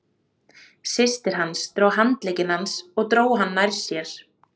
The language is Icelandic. Systir hans tók um handlegg hans og dró hann nær sér.